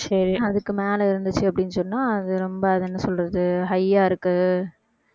அதுக்கு மேலே இருந்துச்சு அப்படின்னு சொன்னா அது ரொம்ப அது என்ன சொல்றது high ஆ இருக்கு